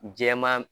Jɛman